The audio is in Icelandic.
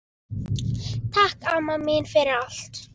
Takk, amma mín, fyrir allt.